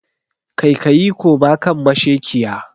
Kaikayi koma kan mashekiya!